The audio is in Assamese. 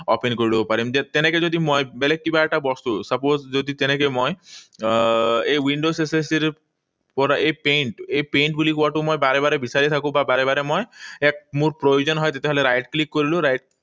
Open কৰি লব পাৰিম। তেনেকৈ যদি মই বেলেগ কিবা এটা বস্তু, suppose যদি তেনেকৈ মই আহ এই windows accessories পৰা এই paint, এই paint বুলি word টো মই বাৰে বাৰে বিচাৰি থাকো বা বাৰে বাৰে মই এক মোৰ প্ৰয়োজন হয়। মই right click কৰিলো right